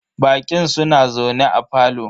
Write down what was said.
Baƙin suna zaune a parlour.